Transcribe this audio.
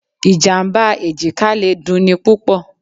Ìjàmbá èjìká le dun ni púpọ̀púpọ̀.